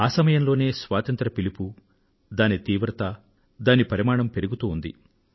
ఆ సమయంలోనే స్వాతంత్ర్యం కోసం పిలుపు దాని తీవ్రత దాని పరిమాణం పెరుగుతూ ఉంది